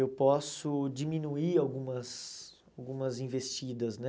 Eu posso diminuir algumas algumas investidas, né?